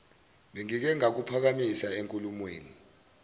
bengike ngakuphakamisa enkulumweni